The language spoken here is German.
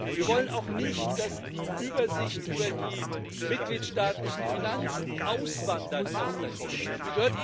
Wir wollen auch nicht, dass die Übersicht über die mitgliedstaatlichen Finanzen auswandert aus der Kommission